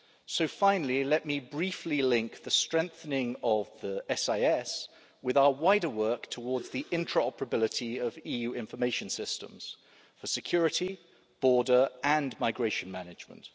So, finally, let me briefly link the strengthening of the SIS with our wider work towards the interoperability of EU information systems for security, border and migration management.